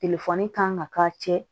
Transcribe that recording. kan ka k'a cɛ